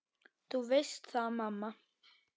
Þú veist það, mamma.